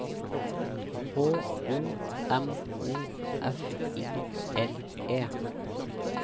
H O M O F I L E